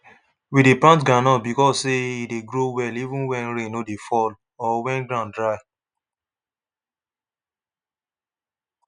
we dey plant groundnut because say e dey grow well even when rain no dey fall or when ground dry